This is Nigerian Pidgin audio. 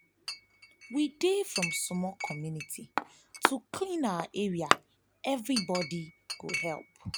we dey form small committee to clean our area everybody go help.